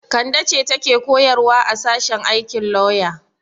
Kande ce take koyarwa a sashen aikin lauya.